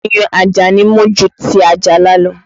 Ayùn Ajani mú ju ti Ajala lọ